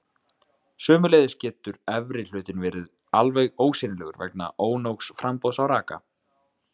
Sömuleiðis getur efri hlutinn verið alveg ósýnilegur vegna ónógs framboðs á raka.